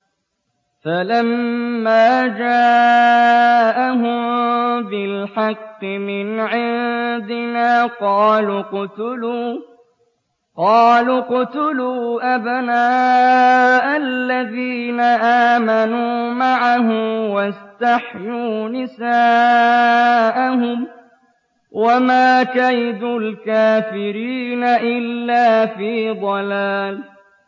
فَلَمَّا جَاءَهُم بِالْحَقِّ مِنْ عِندِنَا قَالُوا اقْتُلُوا أَبْنَاءَ الَّذِينَ آمَنُوا مَعَهُ وَاسْتَحْيُوا نِسَاءَهُمْ ۚ وَمَا كَيْدُ الْكَافِرِينَ إِلَّا فِي ضَلَالٍ